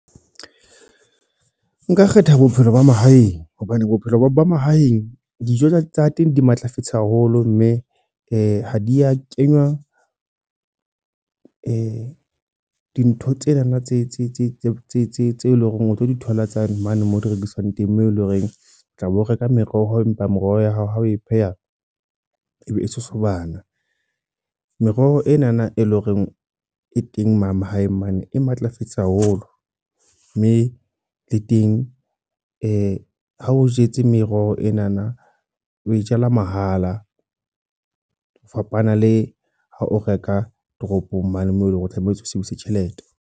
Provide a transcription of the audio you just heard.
Nka kgetha bophelo ba mahaeng. Hobane bophelo ba mahaeng, dijo tsa teng di matlafetse haholo. Mme ha di a kenywa dintho tsenana tse eleng hore o tlo di thola tsane mane moo di rekiswang teng. Moo eleng horeng o tla be ho reka meroho empa meroho ya hao ha o e pheha ebe e sosobana. Meroho enana e leng hore e teng ma mahaeng mane. E matlafetse haholo. Mme le teng ha o jetse meroho enana o e jala mahala. Ho fapana le ha o reka toropong mane moo eleng hore o tlamehetse o sebedise tjhelete.